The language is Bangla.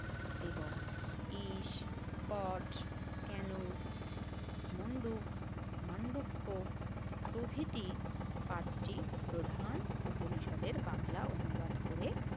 এবং ঈশ, কচ, কেনু, মন্ডুক, মান্ডুক্য প্রভৃতি পাঁচটি প্রধান উপনিষদের বাংলা অনুবাদ করে